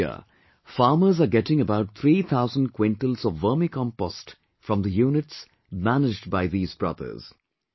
Every year, farmers are getting about three thousand quintals of Vermicompost from the units managed by these brothers